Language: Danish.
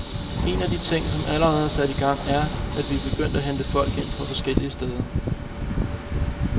Én af de ting, som allerede er sat i gang, er, at vi er begyndt at hente folk ind fra forskellige steder.